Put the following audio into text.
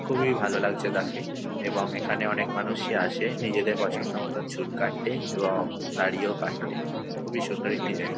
খুবই ভালো লাগছে তাকে এবং এখানে অনেক মানুষই আসে নিজের পছন্দমত চুল কাটতে এবং দাড়িও কাটতে। খুবই সুন্দর একটি জায়গা।